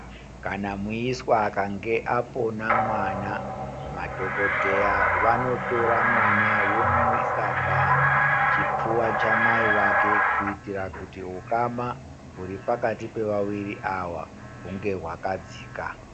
Kana muiswa akange apona mwana madhokoteya vanotora mwana omuisa pachipfuva chamai vake kuitira kuti hukama hwuripakati pevaviri hwunge hwakadzika.